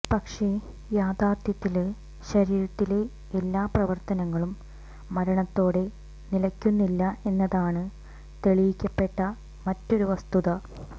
പക്ഷേ യഥാര്ത്ഥത്തില് ശരീരത്തിലെ എല്ലാ പ്രവര്ത്തനങ്ങളും മരണത്തോടെ നിലയ്ക്കുന്നില്ല എന്നതാണ് തെളിയിക്കപ്പെട്ട മറ്റൊരു വസ്തുത